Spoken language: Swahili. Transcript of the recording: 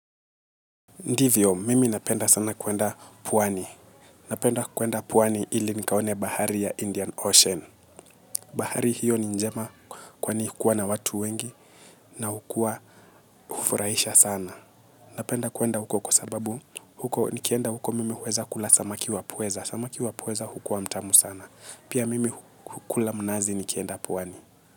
Ndiyo, mimi napenda sana kwenda pwani. Napenda kwenda pwani ili nikaone bahari ya Indian Ocean. Bahari hiyo ni njema kwani hukuwa na watu wengi na hukuwa hufuraisha sana. Napenda kwenda huko kwa sababu huko nikienda huko mimi huweza kula samaki wa pweza. Samaki wa pweza hukua mtamu sana. Pia mimi hukula mnazi nikienda pwani.